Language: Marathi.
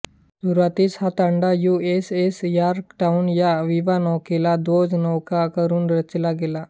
सुरुवातीस हा तांडा यु एस एस यॉर्कटाउन या विवानौकेला ध्वजनौका करून रचला गेला